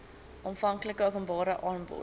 aanvanklike openbare aanbod